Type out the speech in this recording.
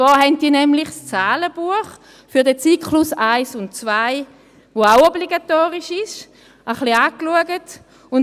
Diese hat das Zahlenbuch für den Zyklus 1 und 2, welches auch obligatorisch ist, ein bisschen angeschaut.